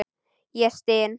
Ég styn.